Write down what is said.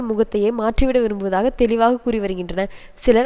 முகத்தையே மாற்றிவிட விரும்புவதாக தெளிவாக கூறிவருகின்றனர் சிலர்